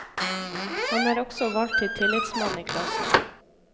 Han er også valgt til tillitsmann i klassen.